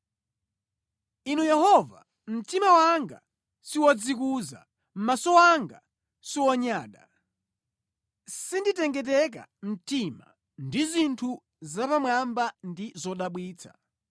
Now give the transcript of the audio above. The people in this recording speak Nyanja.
Inu Yehova, mtima wanga siwodzikuza, maso anga siwonyada; sinditengeteka mtima ndi zinthu zapamwamba ndi zodabwitsa.